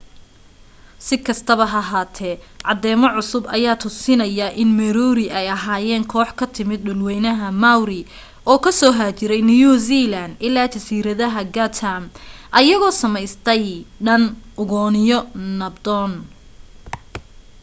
si kastaba ha ahate cadeemo cusub aya tusinaya in moriori ay ahayen koox ka timid dhul weynaha maori oo kasoo haajiray new zealand ilaa jasiiradaha chatham ayagoo sameystay dhan ugooniyo nabdon